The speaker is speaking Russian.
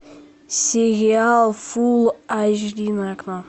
сериал фулл эйч ди на окко